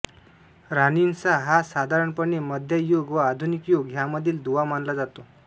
रानिसां हा साधारणपणे मध्य युग व आधुनिक युग ह्यांमधील दुवा मानला जातो